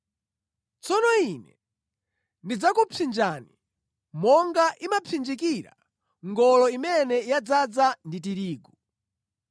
“Tsono Ine ndidzakupsinjani monga imapsinjikira ngolo imene yadzaza ndi tirigu.